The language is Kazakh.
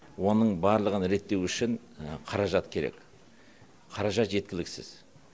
оның барлығын реттеу үшін қаражат керек қаражат жеткіліксіз